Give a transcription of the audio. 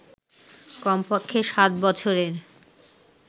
কম পক্ষে সাত বছরের